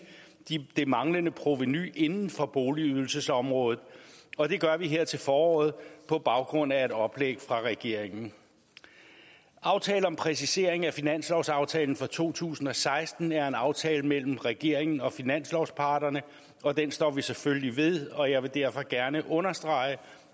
det manglende provenu inden for boligydelsesområdet og det gør vi her til foråret på baggrund af et oplæg fra regeringen aftalen om præcisering af finanslovsaftalen for to tusind og seksten er en aftale mellem regeringen og finanslovsparterne og den står vi selvfølgelig ved og jeg vil derfor gerne understrege